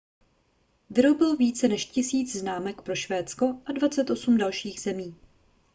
vyrobil více než 1 000 známek pro švédsko a 28 dalších zemí